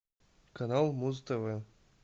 канал муз тв